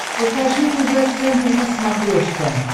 покажи тв центр на смотрешке